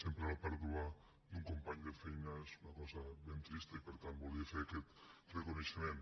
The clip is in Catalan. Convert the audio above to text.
sempre la pèrdua d’un company de feina és una cosa ben trista i per tant volia fer aquest reconeixement